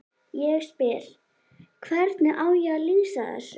Ég spyr: Hvernig á ég að lýsa þessu?